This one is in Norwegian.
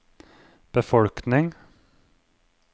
befolkning